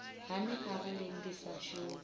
hani arali ndi sa shumi